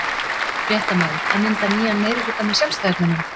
Fréttamaður:. að mynda nýjan meirihluta með Sjálfstæðismönnum?